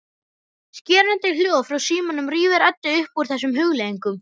Skerandi hljóð frá símanum rífur Eddu upp úr þessum hugleiðingum.